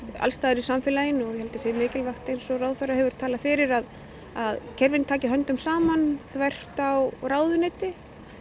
alls staðar í samfélaginu og ég held að það sé mikilvægt eins og ráðherra hefur talað fyrir að að kerfin taki höndum saman þvert á ráðuneyti